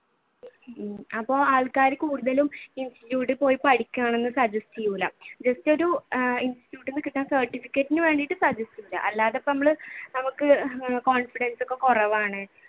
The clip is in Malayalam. അപ്പൊ ആൾകാർ കൂടുതലും institute ഇൽ പോയി പഠിക്കണമെന്ന് suggest ചെയ്യൂല just ഒരു institute, certificate ന് വേണ്ടിയിട്ട് അല്ലാതെ ഇപ്പൊ നമ്മൾ നമ്മക്ക് confidence ഒക്കെ കുറവാണ്